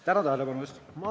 Tänan tähelepanu eest!